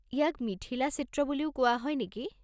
ইয়াক মিথিলা চিত্ৰ বুলিও কোৱা হয় নেকি?